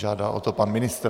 Žádá o to pan ministr.